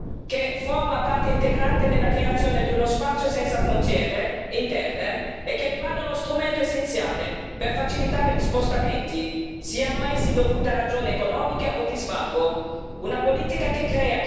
Una politica che forma parte integrante della creazione di uno spazio senza frontiere interne e che rimane uno strumento essenziale per facilitare gli spostamenti, siano essi dovuti a ragioni economiche o di svago.